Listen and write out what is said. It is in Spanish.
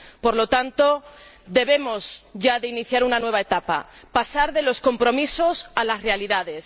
por lo tanto, debemos ya iniciar una nueva etapa, pasar de los compromisos a las realidades.